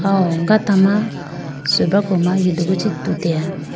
awo gata ma subrako ma yudugu chi tuteya.